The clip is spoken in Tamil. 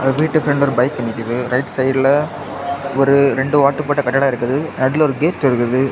வீட்டு பிரண்டுல ஒரு பைக் இருக்குது ரைட் சைடுல ஒரு ரெண்டு ஓட்டு போட்ட கட்டடம் இருக்குது நடுவுல ஒரு கேட் இருக்குது.